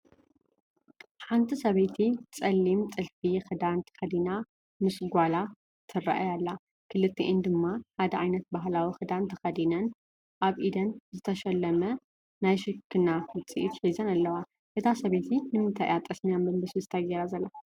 ሓንቲ ሰበይቲ ፀሊም ጥሊም ጥልፊ ክዳን ተኸዲና ምስ ጓላ ትረኣይ ኣላ፡፡ ክልቲአን ድማ ሓደ ዓይነት ባህላዊ ክዳን ተኸዲነን ኣብ ኡደን ዝተሸለመ ናይ ሽክና ውፅኢት ሒዘን ኣለዋ፡፡ እታ ሰበይቲ ንምንታይ እያ ጠስሚ ኣብ መንበስበስታ ገይራ ዘላ?